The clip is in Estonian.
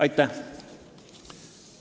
Aitäh!